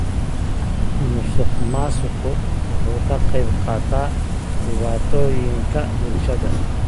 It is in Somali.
Musuqmaasuqu wuxuu ka qayb qaataa dhibaatooyinka bulshada.